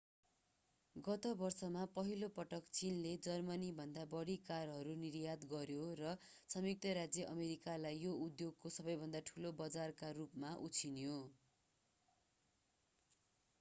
गत वर्षमा पहिलो पटक चीनले जर्मनीभन्दा बढी कारहरू निर्यात गर्‍यो र संयुक्त राज्य अमेरिकालाई यो उद्योगको सबैभन्दा ठूलो बजारका रूपमा उछिन्यो।